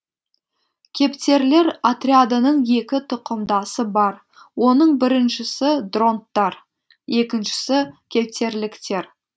кептерлер отрядының екі тұқымдасы бар оның біріншісі дронттар екіншісі кептерліктер